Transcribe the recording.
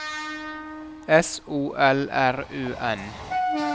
S O L R U N